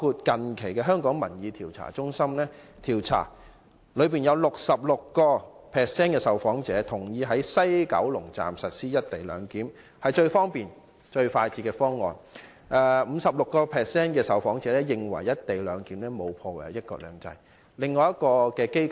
近期，香港民意調查中心的調查顯示 ，66% 的受訪者認同在西九龍站實施"一地兩檢"，認為這是最方便和最快捷的方案，而 56% 的受訪者認為"一地兩檢"並沒有破壞"一國兩制"。